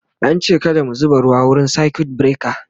an ce kada mu zuba ruwa wurin circuit breaker